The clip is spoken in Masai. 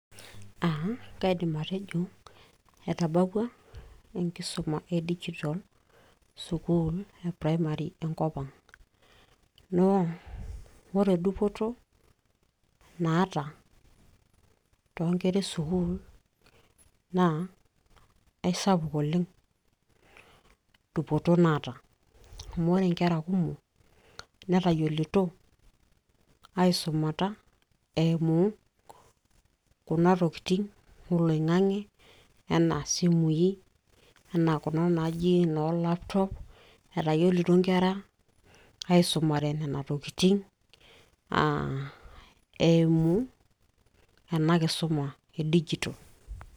aa kaidim atejo etabawua enkisuma e digital sukuul e primary enkop ang naa ore dupoto naata toonkera esukuul naa aisapuk oleng dupoto naata amu ore inkera kumok netayiolito aisumata eimu kuna tokitin oloing'ange enaa isimui enaa kuna naaji noo laptop etayiolito inkera aisumare nena tokitin eimu ena kisuma e digital.